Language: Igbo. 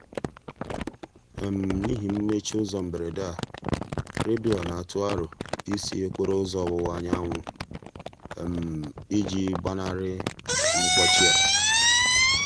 n'ihi mmechi ụzọ mberede a redio na-atụ aro ị sị okporo ụzọ ọwụwa anyanwụ i ji gbanarị mkpọchị a.